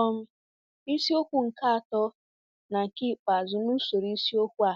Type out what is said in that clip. um Isiokwu nke atọ na nke ikpeazụ n'usoro isiokwu a